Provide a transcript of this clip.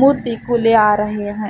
मूर्ती फूल आ रहे हैं।